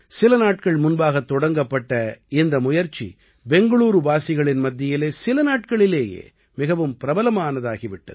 சில நாட்கள் முன்பாகத் தொடங்கப்பட்ட இந்த முயற்சி பெங்களூரூவாசிகளின் மத்தியிலே சில நாட்களிலேயே மிகவும் பிரபலமானதாகிவிட்டது